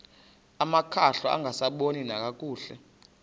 amakhwahla angasaboni nakakuhle